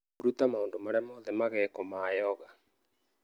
Ruta maũndũ marĩa mothe magekwo ma yoga